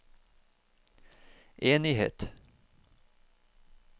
enighet